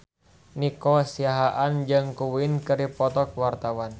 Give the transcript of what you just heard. Nico Siahaan jeung Queen keur dipoto ku wartawan